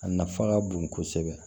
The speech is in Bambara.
A nafa ka bon kosɛbɛ